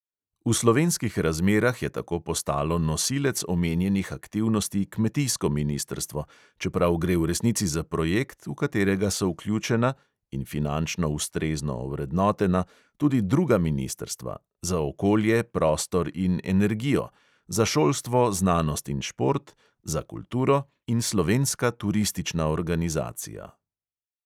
V slovenskih razmerah je tako postalo nosilec omenjenih aktivnosti kmetijsko ministrstvo, čeprav gre v resnici za projekt, v katerega so vključena (in finančno ustrezno ovrednotena) tudi druga ministrstva: za okolje, prostor in energijo; za šolstvo, znanost in šport; za kulturo in slovenska turistična organizacija.